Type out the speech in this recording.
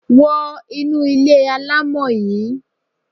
Wo inú ilé alámọ̀ yí!